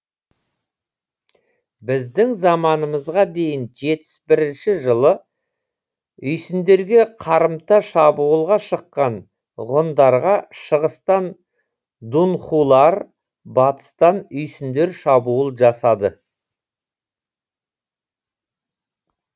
біздің заманымызға дейін жетпіс бірінші жылы үйсіндерге қарымта шабуылға шыққан ғұндарға шығыстан дунхулар батыстан үйсіндер шабуыл жасады